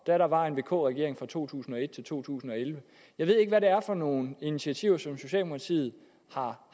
der var en vk regering fra to tusind og et til to tusind og elleve jeg ved ikke hvad det er for nogle initiativer som socialdemokratiet har